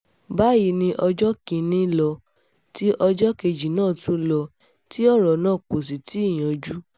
báyìí ni ọjọ́ kìn-ín-ní ló ti ọjọ́ kejì náà tún lò tí ọ̀rọ̀ náà kò sì tí ì yanjú